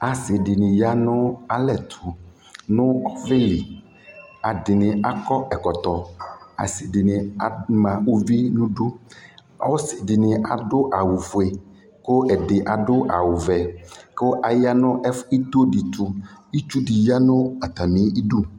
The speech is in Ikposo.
asii dini yanʋ, alɛ ɛtʋʋ nʋ ɔvɛli atani akɔ ɛkɔtɔ, asii dini ama ʋvi nʋ idʋ, ɔsii dini adʋ awʋ ƒʋɛ kʋ ɛdi adʋ awʋ vɛ kʋ aya nʋ itɔɔ di tʋ, itsʋ di yanʋ atami idʋ